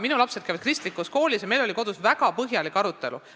Minu lapsed käivad kristlikus koolis ja meil oli kodus väga põhjalik arutelu.